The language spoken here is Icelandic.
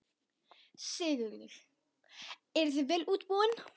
Sigurður: Eruð þið vel útbúin?